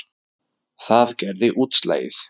Það gerði útslagið.